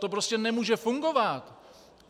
To prostě nemůže fungovat.